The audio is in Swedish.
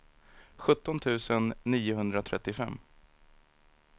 sjutton tusen niohundratrettiofem